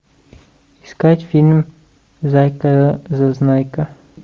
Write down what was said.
искать фильм зайка зазнайка